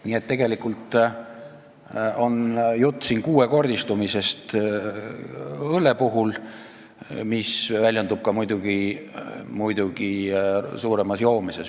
Nii et tegelikult on õlle puhul jutt kuuekordistumisest, mis väljendub ka muidugi suuremas joomises.